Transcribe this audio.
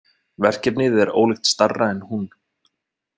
Verkefnið er ólíkt stærra en hún.